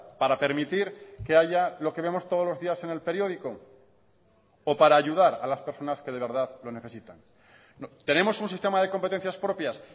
para permitir que haya lo que vemos todos los días en el periódico o para ayudar a las personas que de verdad lo necesitan tenemos un sistema de competencias propias